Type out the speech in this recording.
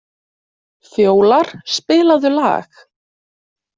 Fjólar, spilaðu lag.